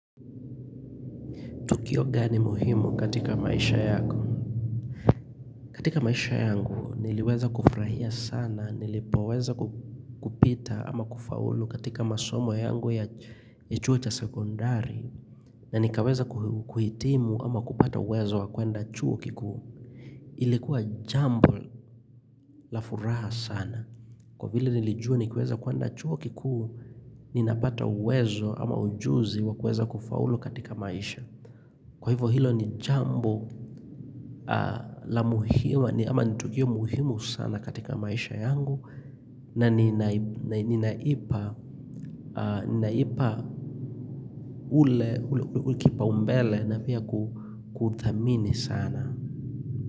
Tukio gani muhimu katika maisha yako? Katika maisha yangu niliweza kufurahia sana, nilipoweza kupita ama kufaulu katika masomo yangu ya chuo cha sekondari. Na nikaweza kuhitimu ama kupata wezo wa kuenda chuo kikuu. Ilikuwa jambo la furaha sana. Kwa vile nilijuwa nikiweza kuenda chuo kiku, ninapata uwezo ama ujuzi wa kuweza kufaulu katika maisha. Kwa hivyo hilo ni jambo la muhimu, ama nitukio muhimu sana katika maisha yangu na ninaipa ule ule kipaumbele na pia ku kuthamini sana.